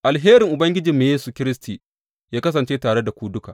Alherin Ubangijinmu Yesu Kiristi yă kasance tare da ku duka.